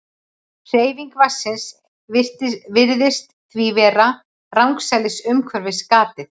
Hreyfing vatnsins virðist því vera rangsælis umhverfis gatið.